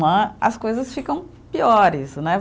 Né, as coisas ficam piores, né?